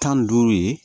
Tan ni duuru ye